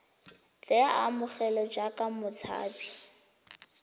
tle a amogelwe jaaka motshabi